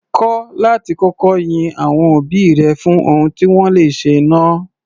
Kọ́ láti kọ́kọ́ yin àwọn òbí rẹ fún ohun tí wọ́n le ṣe náà.